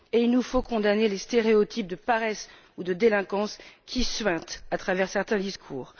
Il nous faut condamner les stéréotypes de paresse ou de délinquance qui suintent à travers certains discours.